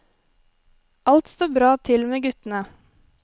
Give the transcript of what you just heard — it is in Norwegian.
Alt står bra til med guttene.